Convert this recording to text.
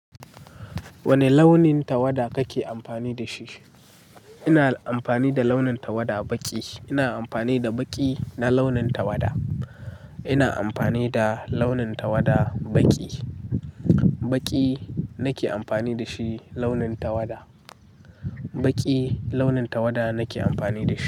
Wane launin tawada kake amfani da shi? Ina amfani da launin tawada baƙi. Ina amfani da baƙi na launin tawada. Ina amfani da launin tawada baƙi. Baƙi nake amfani da shi launin tawada. Baƙi launin tawada nake amfani da shi.